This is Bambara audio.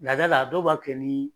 Laada la dɔw b'a kɛ ni